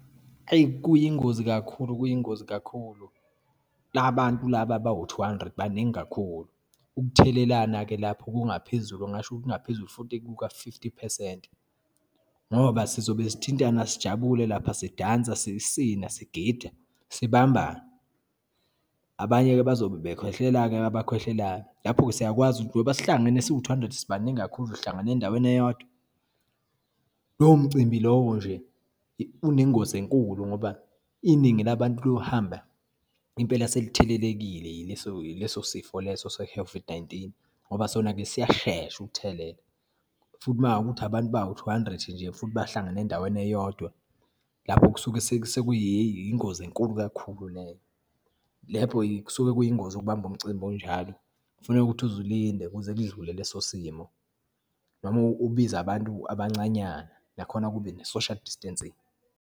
Eyi, kuyingozi kakhulu, kuyingozi kakhulu. La bantu laba abawu two hundred baningi kakhulu. Ukuthelelana-ke lapho kungaphezulu, ngingasho ukuthi kungaphezulu futhi kuka-fifty phesenti, ngoba sizobe sithintana, sijabule lapha, sidansa, sisina, sigida, sibambana. Abanye-ke bazobe bekhwehlela-ke abakhwehlelayo. Lapho-ke siyakwazi njengoba sihlangene siwu two hundred sibaningi kakhulu, sihlangane endaweni eyodwa. Lowo mcimbi lowo nje unengozi enkulu ngoba iningi labantu lohamba impela selithelelekile yileso ileso sifo leso nineteen. Ngoba sona-ke siyashesha ukuthelela futhi uma kuwukuthi abantu bawu two hundred nje, futhi bahlangane endaweni eyodwa. Lapho kusuke hheyi, sekuyingozi enkulu kakhulu leyo. Lapho kusuke kuyingozi ukubamba umcimbi onjalo, kufuneka ukuthi uze ulinde kuze kudlule leso simo, noma ubize abantu abancanyana nakhona kube ne-social distancing.